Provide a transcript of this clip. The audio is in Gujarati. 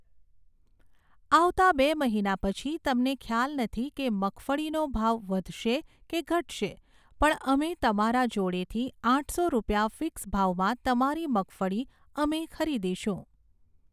આવતા બે મહિના પછી તમને ખ્યાલ નથી કે મગફળીનો ભાવ વધશે કે ઘટશે. પણ અમે તમારા જોડેથી આઠસો રૂપિયા ફિક્સ ભાવમાં તમારી મગફળી અમે ખરીદીશું